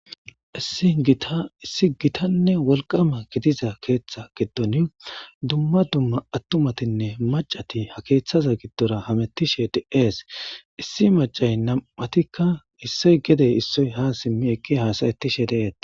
Issi giittanne wolqqama gidiza keththa giddonnii dumma dumma attumatinne macatti ha keththa giddora hamettishe de'es issi macay nam'attikka issoy gedde issoy ha siimmi eqqidi hassayettishe de'ettes